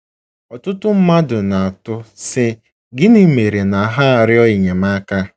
Ọtụtụ mmadụ na-atụ, sị: gịnị mere na ha arịọ enyemaka.